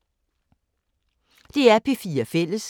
DR P4 Fælles